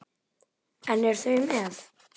En eru þau með?